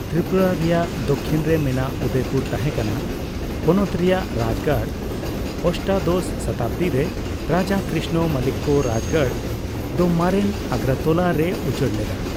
ᱛᱨᱤᱯᱩᱨᱟ ᱨᱮᱭᱟᱜ ᱫᱚᱠᱠᱷᱤᱱ ᱨᱮ ᱢᱮᱱᱟᱜ ᱩᱫᱚᱭᱯᱩᱨ ᱛᱟᱦᱮᱠᱟᱱᱟ ᱯᱚᱱᱚᱛ ᱨᱮᱭᱟᱜ ᱨᱟᱡᱜᱟᱲ ᱾ᱚᱥᱴᱟᱫᱚᱥ ᱥᱚᱛᱟᱵᱫᱤᱨᱮ ᱨᱟᱡᱟ ᱠᱨᱤᱥᱱᱚ ᱢᱟᱱᱤᱠᱠᱚ ᱨᱟᱡᱜᱟᱲ ᱫᱚ ᱢᱟᱨᱮᱱ ᱟᱜᱨᱟᱛᱚᱞᱟ ᱨᱮᱭ ᱩᱪᱟᱹᱲ ᱞᱮᱫᱟ ᱾